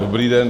Dobrý den.